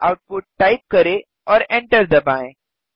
output type करें और enter दबाएँ